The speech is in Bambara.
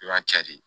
I b'a cɛ de